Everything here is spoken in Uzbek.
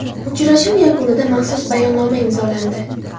Uchrashuv yakunida maxsus bayonnoma imzolandi.